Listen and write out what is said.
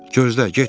Gözlə, getmə.